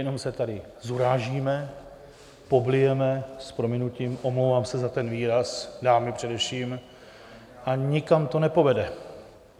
Jenom se tady zurážíme, poblijeme, s prominutím, omlouvám se za ten výraz, dámy především, a nikam to nepovede.